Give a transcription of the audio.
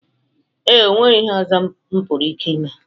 Ee, o nweghi ihe ọzọ m pụrụ ike ime.